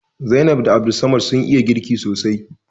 Zainab da Abdulsamad sun iya girki sosai